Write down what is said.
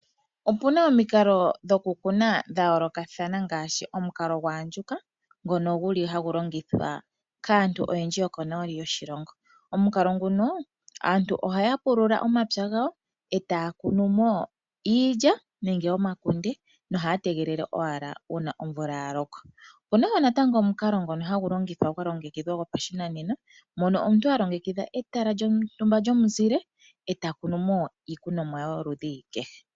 Opuna omikalo dhoku kuna sha yoolokathana ngaashi omikalo dha andjuka ngono guli hagu longithwa kaantu oyendji yokonooli yoshilongo. Omukalo nguno aantu ohaya pulula omapya gawo etaya kunu mo iilya nenge omakunde nohaya tegelele owala uuna omvula ya loko. Opuna wo natango omukalo ngono gwa longekidhwa gopashinanena mono omuntu a longekidha etala lyontumba lyomuzile eta kunu mo iikonomwa yoludhi kehe.